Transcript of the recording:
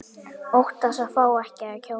Óttast að fá ekki að kjósa